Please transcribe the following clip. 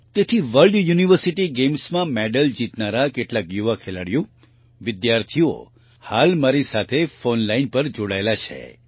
તેથી world university Gamesમાં medal જીતનારા કેટલાક યુવા ખેલાડીઓ વિદ્યાર્થીઓ હાલમાં મારી સાથે ફોન લાઇન ફોન લાઇન પર જોડાયેલા છે